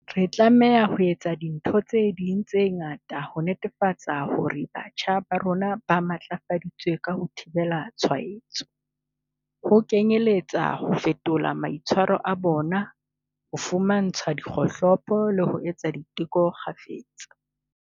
Re tlameha ho etsa dintho tse ding tse ngata ho netefatsa hore batjha ba rona ba matlafaditswe ka ho thibela ditshwaetso, ho kenyeletsa ho fetola maitshwaro a bona, ho fumantshwa dikgohlopo le ho etsa diteko kgafetsa.